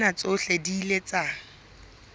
tsena tsohle di ile tsa